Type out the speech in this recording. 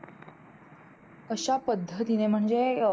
अश्या पद्धतीने म्हणजे अं